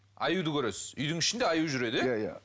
аюды көресіз үйдің ішінде аю жүреді иә иә иә